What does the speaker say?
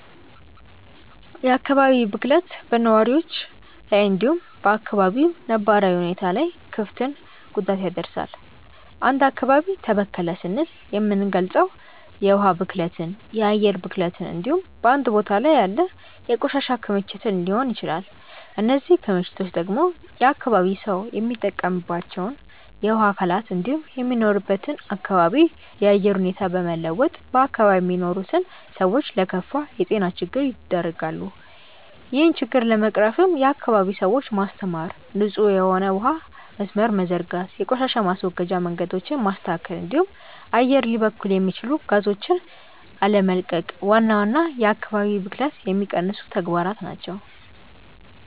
የአካባቢ ብክለት በነዋሪዎች ላይ እንዲሁም በ አካባቢው ነባራዊ ሁኔታ ላይ ክፍትን ጉዳት ያደርሳል። አንድ አካባቢ ተበከለ ስንል የምንልገጸው የውሀ ብክለትን፣ የአየር ብክለትን እንዲሁም በአንድ ቦታ ላይ ያለ የቆሻሻ ክምችትን ሊሆን ይችላል። እነዚህ ክምችቶች ደግሞ የአካባቢው ሰው የሚጠቀምባቸውን የውሀ አካላት እንዲሁም የሚኖርበትን አካባቢ የአየር ሁኔታ በመለወጥ በአካባቢው የሚኖሩትን ሰዎች ለከፋ የጤና ችግር ይደረጋሉ። ይህን ችግር ለመቅረፍም የአካባቢውን ሰዎች ማስተማር፣ ንጹህ የሆነ የውሀ መስመርን መዘርጋት፣ የቆሻሻ ማስወገጃ መንገዶችን ማስተካከል እንዲሁም አየር ሊበክሉ የሚችሉ ጋዞችን አለመቀቅ ዋና ዋና የአካባቢ ብክለትን የሚቀንሱ ተግባራት ናቸው።